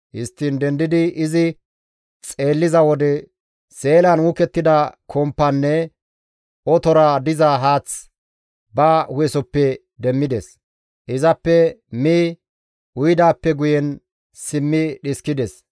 Histtiin dendidi izi xeelliza wode seelan uukettida kompanne otora diza haath ba hu7esoppe demmides; izappe mi uyidaappe guyen simmi dhiskides.